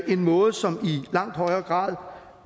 måde som i langt højere grad